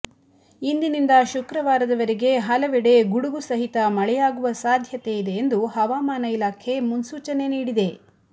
ಇಂದಿನಿಂದ ಶುಕ್ರವಾರದವರೆಗೆ ಹಲವೆಡೆ ಗುಡುಗು ಸಹಿತ ಮಳೆಯಾಗುವ ಸಾಧ್ಯತೆ ಇದೆ ಎಂದು ಹವಾಮಾನ ಇಲಾಖೆ ಮುನ್ಸೂಚನೆ ನೀಡಿದೆ